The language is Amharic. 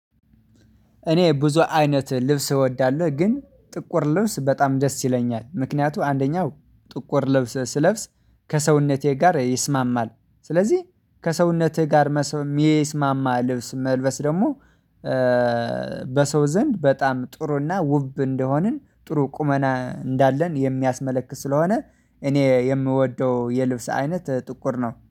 እኔ ብዙ አይነት ልብስ እወዳለሁ ግን ጥቁር ልብስ በጣም ደስ ይለኛል ምክንያቱ አንደኛው ጥቁር ልብስ ስለብስ ከሰውነቴ ጋር ይስማማል። ስለዚህ ከሰውነቴ ጋር የሚስማማ ልብስ መልበስ ደግሞ በሰው ዘንድ በጣም ጥሩና ውብ እንደሆንን ጥሩ ቁመና እንዳለን የሚያስመለክት ስለሆነ። እኔ የምወደው የልብስ አይነት ጥቁር ነው